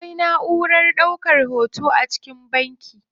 Akwai naʼurar hoto a cikin banki.